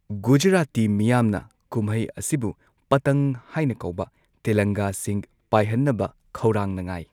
ꯒꯨꯖꯔꯥꯇꯤ ꯃꯤꯌꯥꯝꯅ ꯀꯨꯝꯍꯩ ꯑꯁꯤꯕꯨ ꯄꯇꯪ ꯍꯥꯏꯅ ꯀꯧꯕ, ꯇꯦꯂꯪꯒꯥꯁꯤꯡ ꯄꯥꯏꯍꯟꯅꯕ ꯈꯧꯔꯥꯡꯅ ꯉꯥꯏ꯫